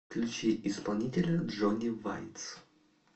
включи исполнителя джони вайц